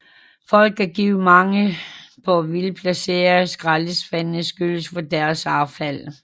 Folk kan give mangel på velplacerede skraldespande skylden for deres affald